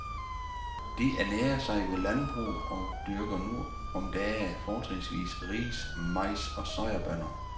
De ernærer sig ved landbrug og dyrker nu om dage fortrinsvis ris, majs og soyabønner.